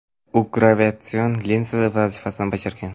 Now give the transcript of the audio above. U gravitatsion linza vazifasini bajargan.